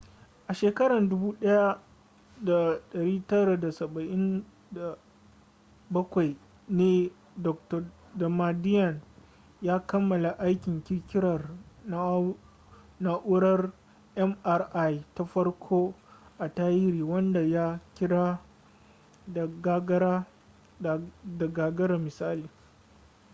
a shekarar 1977 ne dr damadian ya kammala aikin kirkirar na'urar mri ta farko a tarihi wadda ya kira da gagara misali